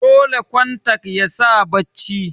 dole kontak yasaka bacci